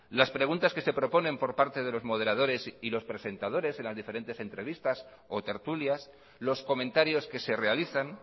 las preguntas que se proponen por parte de los moderadores y los presentadores en las diferentes entrevistas o tertulias los comentarios que se realizan